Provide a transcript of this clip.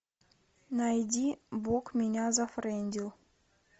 найди бог меня зафрендил